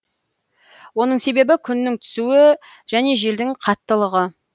оның себебі күннің түсуі және желдің қаттылығы